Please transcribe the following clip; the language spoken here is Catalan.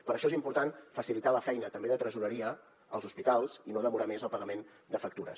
per això és important facilitar la feina també de tresoreria als hospitals i no demorar més el pagament de factures